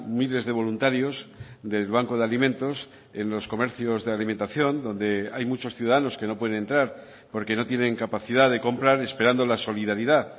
miles de voluntarios del banco de alimentos en los comercios de alimentación donde hay muchos ciudadanos que no pueden entrar porque no tienen capacidad de comprar esperando la solidaridad